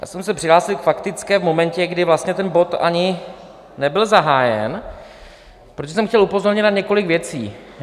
Já jsem se přihlásil k faktické v momentě, kdy vlastně ten bod ani nebyl zahájen, protože jsem chtěl upozornit na několik věcí.